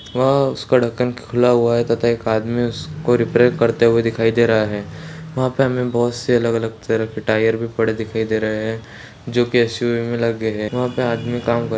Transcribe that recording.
वह उसका ढक्कन खुला हुआ है तथा एक आदमी उसको रिपेयर करते हुए दिखाई दे रहा है वहाँ पे हमें बहुत से अलग-अलग तरह के टायर भी पड़े दिखाई दे रहें हैं जो कि एस.यु.वी. में लगे हैं वहाँ पर आदमी काम कर --